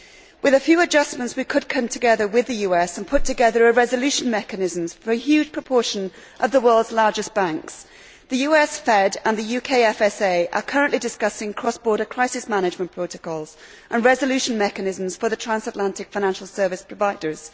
With a few adjustments, we could come together with the US and put together resolution mechanisms for a huge proportion of the world's largest banks. The US Fed and the UK FSA are currently discussing cross border crisis amendment protocols and resolution mechanisms for the transatlantic financial service providers.